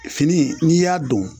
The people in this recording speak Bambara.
Fini in n'i y'a don